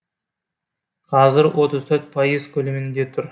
қазір отыз төрт пайыз көлемінде тұр